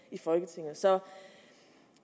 i folketinget så